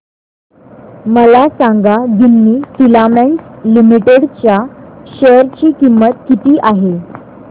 मला सांगा Ginni Filaments Limited च्या शेअर ची किंमत किती आहे